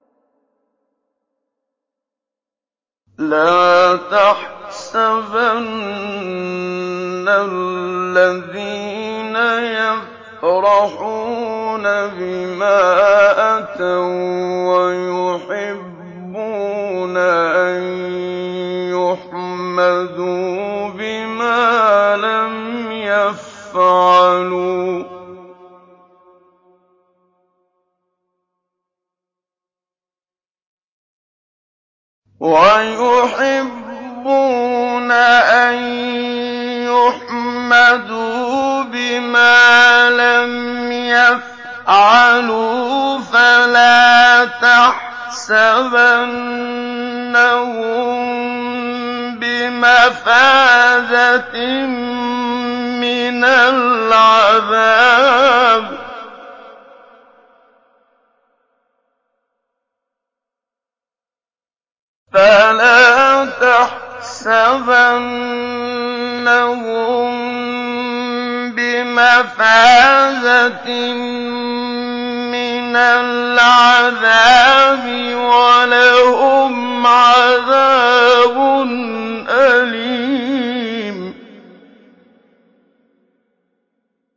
لَا تَحْسَبَنَّ الَّذِينَ يَفْرَحُونَ بِمَا أَتَوا وَّيُحِبُّونَ أَن يُحْمَدُوا بِمَا لَمْ يَفْعَلُوا فَلَا تَحْسَبَنَّهُم بِمَفَازَةٍ مِّنَ الْعَذَابِ ۖ وَلَهُمْ عَذَابٌ أَلِيمٌ